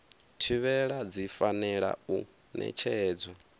thivhela dzi fanela u ṋetshedzwa